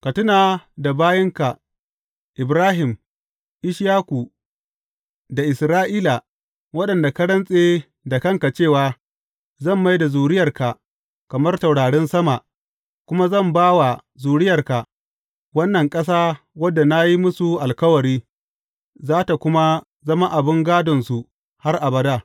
Ka tuna da bayinka Ibrahim, Ishaku da Isra’ila, waɗanda ka rantse da kanka cewa, Zan mai da zuriyarka kamar taurarin sama kuma zan ba wa zuriyarka wannan ƙasa wadda na yi musu alkawari, za tă kuma zama abin gādonsu har abada.’